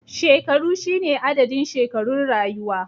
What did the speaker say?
Shekaru shine adadin shekarun rayuwa